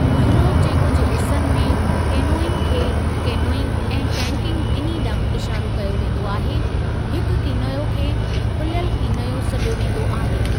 Europe जे कुझु हिसनि में केनोइंग खे केनोइंग ऐं कैकिंग ॿिन्ही ॾांहुं इशारो कयो वेंदो आहे, हिक कीनयो खे खुलियलु कीनयो सॾियो वेंदो आहे।